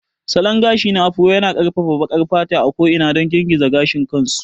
Salon gashi na Afro yana ƙarfafa baƙar fata a ko'ina don girgiza gashin kansu.